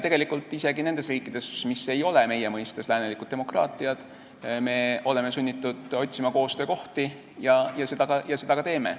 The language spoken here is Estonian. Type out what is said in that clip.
Tegelikult oleme isegi nendes riikides, mis ei ole meie mõistes läänelikud demokraatiad, sunnitud otsima koostöökohti ja me seda ka teeme.